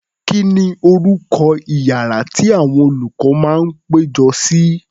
Kí ni orúkọ iyàrá tí àwọn olùkọ́ máa ń péjọ sí?